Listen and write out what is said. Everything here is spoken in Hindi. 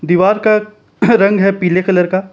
दीवार का रंग है पीले कलर का।